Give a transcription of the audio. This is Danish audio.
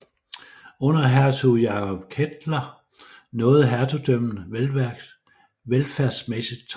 Under hertug Jacob Kettler nåede hertugdømmet velfærdsmæssigt toppen